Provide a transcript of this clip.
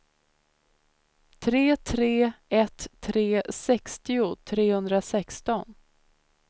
tre tre ett tre sextio trehundrasexton